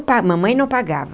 Mamãe não pagava.